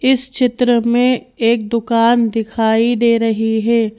इस चित्र में एक दुकान दिखाई दे रही है।